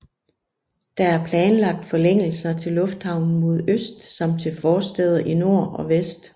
Der er planlagt forlængelser til lufthavnen mod øst samt til forstæder i nord og vest